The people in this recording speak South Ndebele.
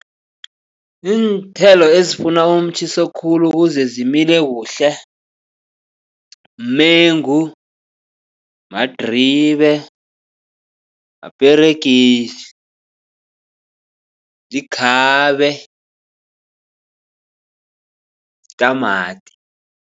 Iinthelo ezifuna umtjhiso khulu ukuze zimile kuhle mengu, madribe, maperegisi, likhabe, tamati.